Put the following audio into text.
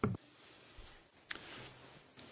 Herr Präsident, Frau Kommissarin!